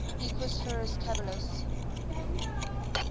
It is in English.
equus ferus caballus